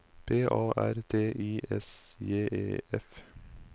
P A R T I S J E F